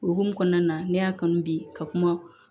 O hukumu kɔnɔna na ne y'a kanu bi ka kuma